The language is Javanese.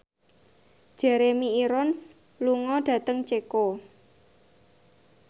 Jeremy Irons lunga dhateng Ceko